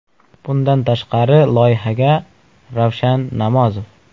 Bundan tashqari loyihaga Ravshan Namozov.